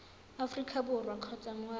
aforika borwa kgotsa moagi wa